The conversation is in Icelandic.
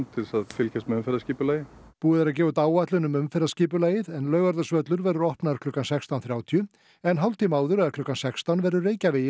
til þess að fylgjast með umferðarskipulagi búið er að gefa út áætlun um umferðarskipulagið Laugardalsvöllur verður opnaður klukkan sextán þrjátíu en hálftíma áður eða klukkan sextán verður Reykjavegi